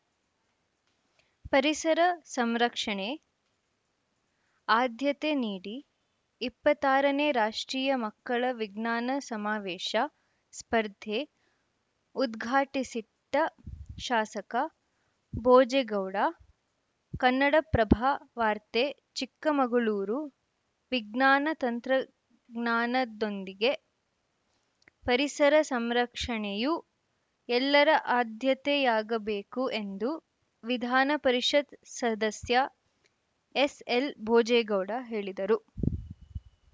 ಪರಿಸರ ಸಂರಕ್ಷಣೆ ಆದ್ಯತೆ ನೀಡಿ ಇಪ್ಪತ್ತ್ ಆರನೇ ರಾಷ್ಟ್ರೀಯ ಮಕ್ಕಳ ವಿಜ್ಞಾನ ಸಮಾವೇಶ ಸ್ಪರ್ಧೆ ಉದ್ಘಾಟಿಸಿ ಟ ಶಾಸಕ ಭೋಜೇಗೌಡ ಕನ್ನಡಪ್ರಭ ವಾರ್ತೆ ಚಿಕ್ಕ ಮಗಳೂರು ವಿಜ್ಞಾನ ತಂತ್ರಜ್ಞಾನದೊಂದಿಗೆ ಪರಿಸರ ಸಂರಕ್ಷಣೆಯೂ ಎಲ್ಲರ ಆದ್ಯತೆಯಾಗಬೇಕು ಎಂದು ವಿಧಾನಪರಿಷತ್‌ ಸದಸ್ಯ ಎಸ್‌ಎಲ್‌ಭೋಜೇಗೌಡ ಹೇಳಿದರು